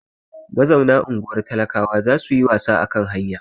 Mazauna unguwar talakawa za su yi wasa a kan hanya.